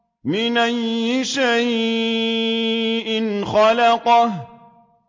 مِنْ أَيِّ شَيْءٍ خَلَقَهُ